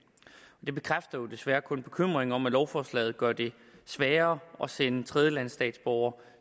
det bekræfter jo desværre kun bekymringen om at lovforslaget gør det sværere at sende tredjelandsstatsborgere